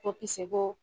Ko kisɛ bɔ